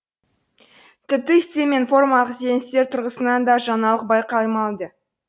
тіпті стиль мен формалық ізденістер тұрғысынан да жаңалық байқалмайды